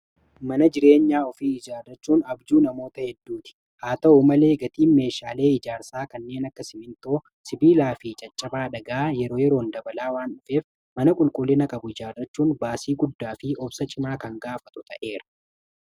mana jireenyaa ofii ijaarrachuun abjuu namoota hedduu ti haa ta'uu malee gatii meeshaalee ijaarsaa kanneen akka simintoo sibiilaa fi caccaba adhagaa yeroo yeroon dabalaa waan dhufeef mana qulqullina qabu ijaarrachuun baasii guddaa fi obsa cimaa kan gaafatu ta'eera